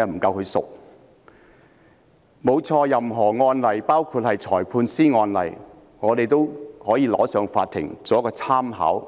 我們的確可以向法院提出任何案例——包括裁判法院的案例——作為參考，